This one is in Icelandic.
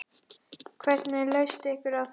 Hvernig leyst ykkur á það?